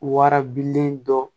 Warabilen dɔ